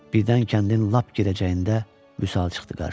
Birdən kəndin lap girəcəyində Vüsal çıxdı qarşıma.